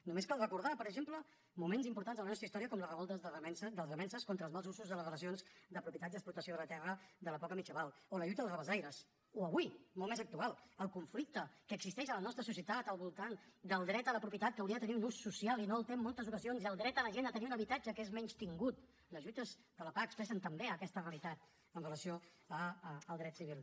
només cal recordar per exemple moments importants en la nostra història com les revoltes dels remences contra els mals usos en les relacions de propietat i explotació de la terra de l’època medieval o la lluita dels rabassaires o avui molt més actual el conflicte que existeix en la nostra societat al voltant del dret a la propietat que hauria de tenir un ús social i no el té en moltes ocasions i el dret de la gent a tenir un habitatge que és menystingut les lluites de la pah expressen també aquesta realitat amb relació al dret civil